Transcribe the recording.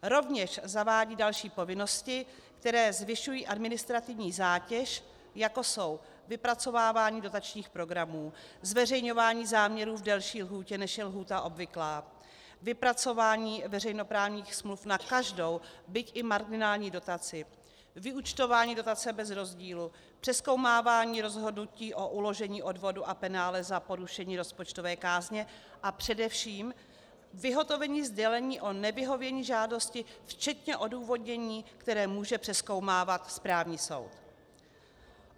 Rovněž zavádí další povinnosti, které zvyšují administrativní zátěž, jako jsou vypracovávání dotačních programů, zveřejňování záměrů v delší lhůtě, než je lhůta obvyklá, vypracování veřejnoprávních smluv na každou, byť i marginální dotaci, vyúčtování dotace bez rozdílu, přezkoumávání rozhodnutí o uložení odvodu a penále za porušení rozpočtové kázně a především vyhotovení sdělení o nevyhovění žádosti včetně odůvodnění, které může přezkoumávat správní soud.